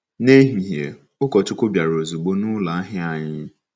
N'ehihie, ụkọchukwu bịara ozugbo n'ụlọ ahịa anyị.